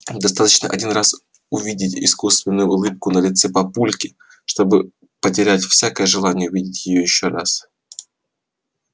достаточно один раз увидеть искусственную улыбку на лице папульки чтобы потерять всякое желание увидеть её ещё раз